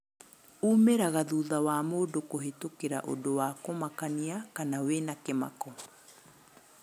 umĩraga thutha wa mũndũ kũhĩtũkĩra ũndũ wa kũmakania kana wĩna kĩmako.